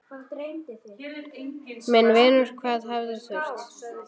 Minn vinur, hvað hefði þurft?